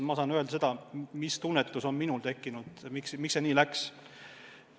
Ma saan öelda seda, miks see minu arvates nii läks.